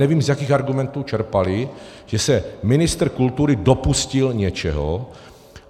Nevím, z jakých argumentů čerpali, že se ministr kultury dopustil něčeho.